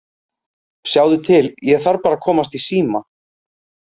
Sjáðu til, ég þarf bara að komast í síma